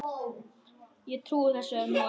Ég trúi þessu nú ekki!